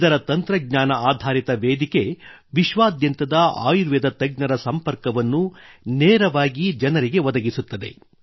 ಇದರ ತಂತ್ರಜ್ಞಾನ ಆಧಾರಿತ ವೇದಿಕೆ ವಿಶ್ವಾದ್ಯಂತದ ಆಯುರ್ವೇದ ತಜ್ಞರ ಸಂಪರ್ಕವನ್ನು ನೇರವಾಗಿ ಜನರಿಗೆ ಒದಗಿಸುತ್ತದೆ